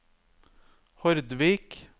Hordvik